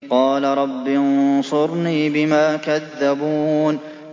قَالَ رَبِّ انصُرْنِي بِمَا كَذَّبُونِ